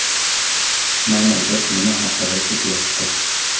Mana, gap nima haqida ketyapti!